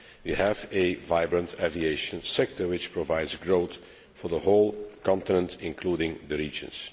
We have a vibrant aviation sector which provides growth for the whole continent, including the regions.